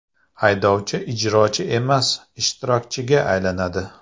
Haydovchi ijrochi emas ishtirokchiga aylanadi.